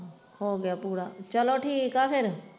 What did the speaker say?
ਹੋ ਗਿਆ ਪੂਰਾ ਚੱਲੋ ਠੀਕ ਹੈ ਫਿਰ।